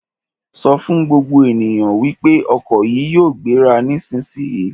Sọ fún gbogbo ènìyàn wípé ọkọ̀ yìí yóò gbéra nísisìyìí!